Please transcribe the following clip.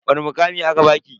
Wani mukami aka baki?